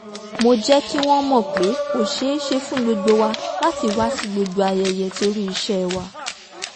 mo jẹ́ kí wọ́n mọ̀ pé kò ṣeéṣe fún gbogbo wa láti wá sí gbogbo ayẹyẹ torí iṣẹ́ wa